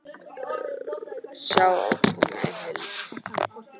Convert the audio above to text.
Sjá ákvörðunina í heild